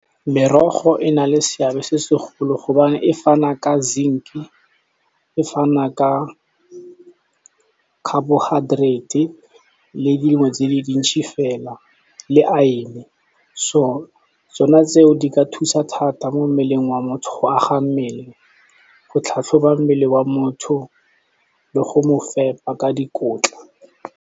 Merogo e na le seabe se segolo , gobane e fana ka zinc-e, e fana ka carbohydrates, le dingwe tse di dintsi fela le iron. So tsona tse o di ka thusa thata mo mmeleng wa motho go aga mmele, go tlhatlhoba mmele wa motho le go mo fepa ka dikotla.